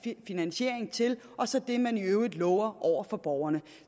finansiering til og så det man i øvrigt lover over for borgerne